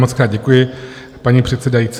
Mockrát děkuji, paní předsedající.